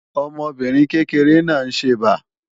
Ọmọbìnrin kékeré náà ń ṣẹbà